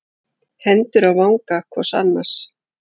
Hendur á vanga hvors annars.